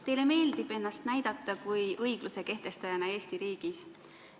Teile meeldib ennast näidata kui õigluse kehtestajat Eesti riigis.